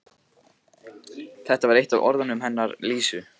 Þetta var eitt af orðunum hennar Lísu.